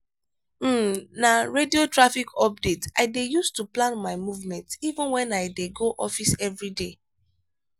um na radio traffic updates i dey use to plan my movement even wen i dey go office every day.